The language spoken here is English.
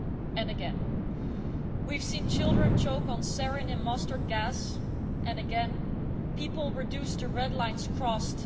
And again, we have seen children choke on sarin and mustard gas. And again, people reduced to red lines crossed.